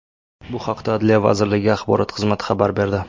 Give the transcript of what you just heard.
Bu haqda Adliya vazirligi axborot xizmati xabar berdi .